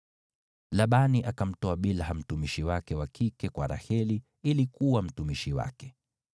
Labani akamtoa Bilha mtumishi wake wa kike kwa Raheli ili kuwa mtumishi wake.